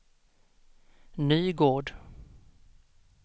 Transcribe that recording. Nygård